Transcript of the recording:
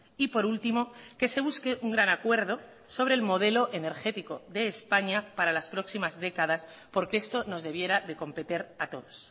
y por último que se busque un gran acuerdo sobre el modelo energético de españa para las próximas décadas porque esto nos debiera de competer a todos